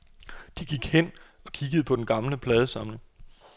De gik hen og kiggede på den gamle pladesamling.